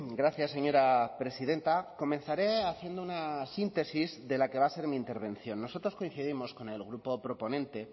gracias señora presidenta comenzaré haciendo una síntesis de la que va a ser mi intervención nosotros coincidimos con el grupo proponente